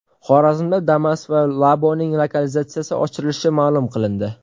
Xorazmda Damas va Labo‘ning lokalizatsiyasi oshirilishi ma’lum qilindi .